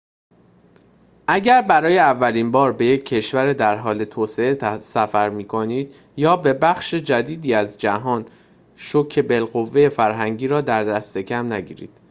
اگر برای اولین بار به یک کشور در حال توسعه سفر می کنید یا به بخشی جدید از جهان شوک بالقوه فرهنگی را دست کم نگیرید